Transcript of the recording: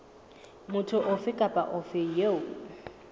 motho ofe kapa ofe eo